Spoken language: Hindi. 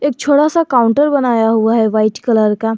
एक छोटा सा काउंटर बनाया हुआ है वाइट कलर का।